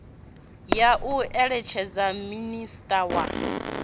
ya u eletshedza minisiṱa wa